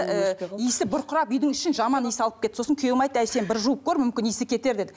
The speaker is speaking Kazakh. ііі иісі бұрқырап үйдің ішін жаман иіс алып кетті сосын күйеуім айтты әй сен бір жуып көр мүмкін иісі кетер деді